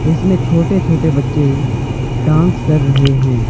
इसमें छोटे छोटे बच्चे डांस कर रहे हैं।